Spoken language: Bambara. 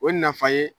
O nafa ye